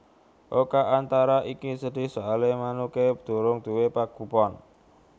Oka Antara iki sedih soale manuke durung duwe pagupon